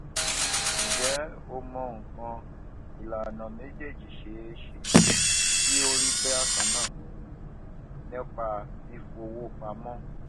njé o mò nnkan ìlànà méjèèjì ṣeéṣe kí ó rí bákan náà nípa fífowó pamó